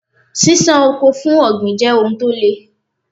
Ṣíṣán oko for ọ̀gbìn jẹ́ ohun tó le.